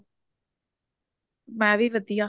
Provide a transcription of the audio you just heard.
ਮੈਂ ਵੀ ਵਧੀਆ